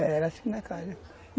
Era assim na casa.